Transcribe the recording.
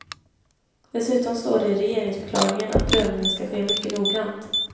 Dessutom står det i regeringsförklaringen att prövningen ska ske mycket noggrant.